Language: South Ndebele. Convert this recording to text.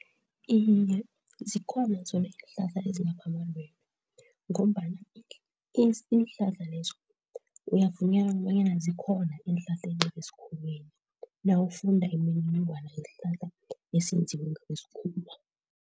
Iye, zikhona zona iinhlahla ezilapha amalwele ngombana iinhlahla lezo kuyavunyalaka kobanyana zikhona eenhlahleni zesikhuweni nawufunda imininingwana yesihlahla esenziwe ngokwesikhuwa.